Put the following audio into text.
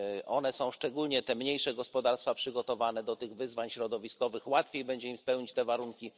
One są szczególnie te mniejsze gospodarstwa przygotowane do tych wyzwań środowiskowych, łatwiej będzie im spełnić te warunki.